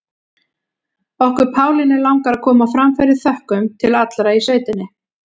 Okkur Pálínu langar að koma á framfæri þökkum til allra í sveitinni.